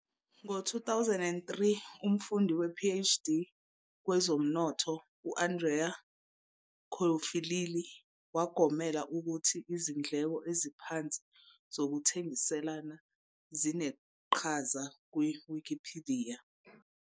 Ngo-2003,umfundi wePhD kwezomnotho u-Andrea Ciffolilli wagomela ukuthi izindleko eziphansi zokuthengiselana zineqhaza kwiWikipidiya.